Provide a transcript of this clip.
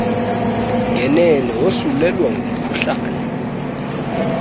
ngenene wosulelwa ngumkhuhlane